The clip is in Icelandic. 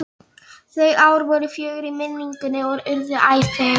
Þau ár voru fögur í minningunni og urðu æ fegurri.